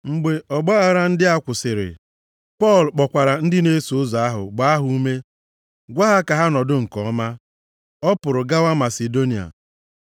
Mgbe ọgbaaghara ndị a kwụsịrị, Pọl kpọkwara ndị na-eso ụzọ ahụ, gbaa ha ume, gwa ha ka ha nọdụ nke ọma, ọ pụrụ gawa Masidonia.